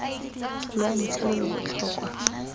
lwa ntlha lo lo botlhokwa